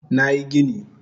Nayi gini